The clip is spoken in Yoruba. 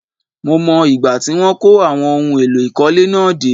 Mo mọ̀ ìgbà tí wọ́n kó àwọn ohun èlò ìkọ́lé náà dé